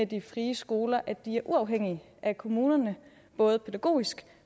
de frie skoler at de er uafhængige af kommunerne både pædagogisk